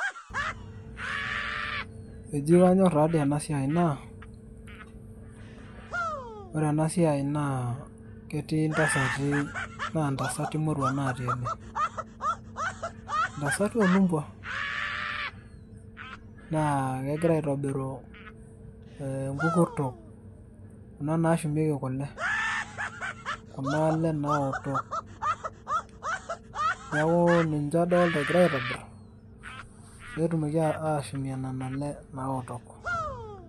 eji kanyorr tadii ena siai naa, ore ena siai naa ketii intasati ,naa intasati moruak natii ene, intasati oolumpua, naa kegira aitobiru inkukurtok, kuna naashumieki kule, kuna lee naotok, neeku ninche aokito, neeku ninche adoolta egirae aitobir. ninche etumieki kule naotok.